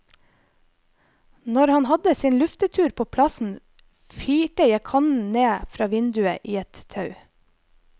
Når han hadde sin luftetur på plassen firte jeg kannen ned fra vinduet i et tau.